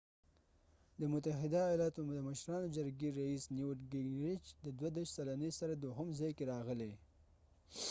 د متحده ایالاتو د مشرانو جرګې رییس نیوت ګینګریچ د 32 سلنې سره دوهم ځای کې راغلی